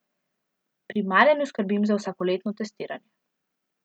Pri Marjanu skrbim za vsakoletno testiranje.